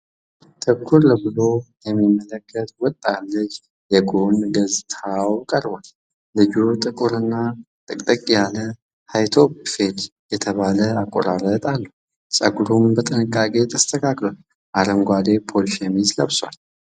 ትኩር ብሎ የሚመለከት ወጣት ልጅ የጎን ገጽታው ቀርቧል። ልጁ ጥቁር እና ጥቅጥቅ ያለ ‘ሀይ-ቶፕ ፌድ’ የተባለ አቆራረጥ አለው፣ ፀጉሩም በጥንቃቄ ተስተካክሏል። አረንጓዴ ፖሎ ሸሚዝ ለብሷል።